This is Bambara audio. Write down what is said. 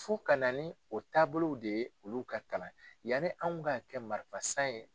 Fo ka na ni o taabolow de ye olu ka kalan yanni anw ka kɛ marifasan ye.